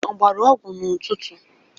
Ọ gbara ọgwụ n'ụtụtụ?